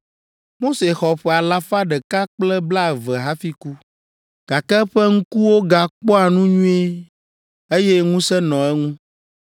Mose xɔ ƒe alafa ɖeka kple blaeve hafi ku, gake eƒe ŋkuwo gakpɔa nu nyuie, eye ŋusẽ nɔ eŋu.